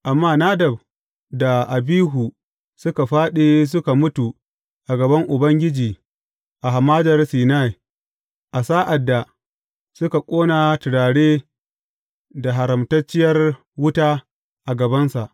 Amma Nadab da Abihu suka fāɗi suka mutu a gaban Ubangiji a Hamadar Sinai a sa’ad da suka ƙona turare da haramtacciyar wuta a gabansa.